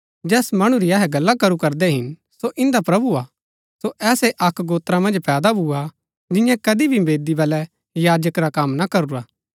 जैस मणु री अहै गल्ला करू करदै हिन सो इन्दा प्रभु हा सो ऐसै अक्क गोत्र मन्ज पैदा भूआ जिन्यैं कदी भी वेदी बलै याजक रा कम ना करूरा